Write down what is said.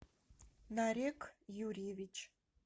нарек юрьевич